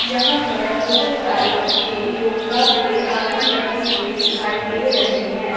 यहां पर बहोत सारे बच्चे योगा के आसन करते हुए दिखाई दे रहें हैं।